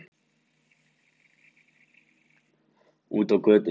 Úti á götunni.